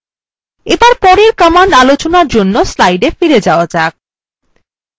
এবার পরের command আলোচনার জন্য slidesএ ফিরে যাওয়া যাক